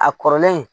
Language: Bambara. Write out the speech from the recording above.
A kɔrɔlen